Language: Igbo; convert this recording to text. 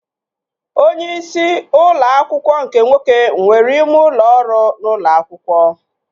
Onyeisi ụlọ akwụkwọ nke nwoke nwere ime ụlọ ọrụ n'ụlọ akwụkwọ